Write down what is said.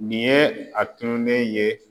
Nin ye a tununen ye